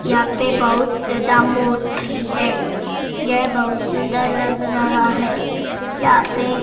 यहां पे बहुत ज्यादा मूर्ति है यह बहुत सुंदर लग रहा है यहां पे--